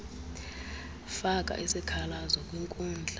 faka isikhalazo kwinkundla